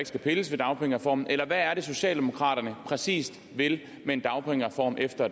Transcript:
skal pilles ved dagpengereformen eller hvad er det socialdemokraterne præcis vil med en dagpengereform efter